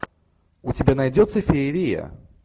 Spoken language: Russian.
у тебя найдется феерия